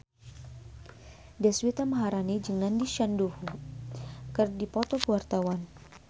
Deswita Maharani jeung Nandish Sandhu keur dipoto ku wartawan